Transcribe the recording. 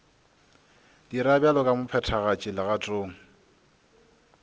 dira bjalo ka mophethagatši legatong